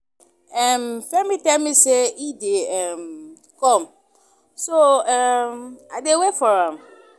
um Femi tell me say e dey um come so um I dey wait for am